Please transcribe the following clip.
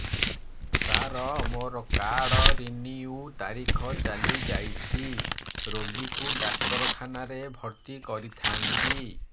ସାର ମୋର card renew ତାରିଖ ଚାଲି ଯାଇଛି ରୋଗୀକୁ ଡାକ୍ତରଖାନା ରେ ଭର୍ତି କରିଥାନ୍ତି